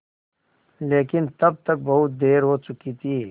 लेकिन तब तक बहुत देर हो चुकी थी